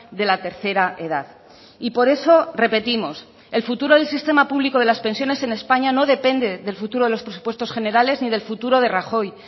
de la tercera edad y por eso repetimos el futuro del sistema público de las pensiones en españa no depende del futuro de los presupuestos generales ni del futuro de rajoy